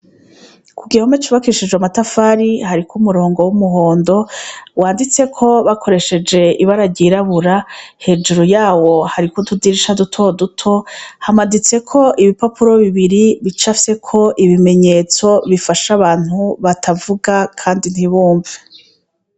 Ku gihome cubakishije matafari hariko umurongo w'umuhondo wanditse ko bakoresheje ibara ryirabura hejuru yawo hari ko utudirisha duto duto, hamaditse ko ibipapuro bibiri bica fye ko ibimenyetso bifasha abantu batavuga, kandi ntibumve.